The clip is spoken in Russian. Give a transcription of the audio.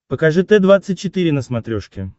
покажи т двадцать четыре на смотрешке